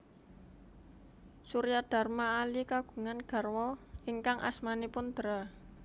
Suryadharma Ali kagungan garwa ingkang asmanipun Dra